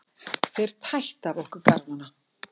Þeir tættu af okkur garmana.